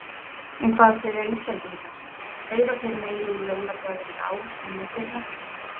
En hvað segja Íslendingar, eyða þeir meiru í jólagjafir í ár en í fyrra?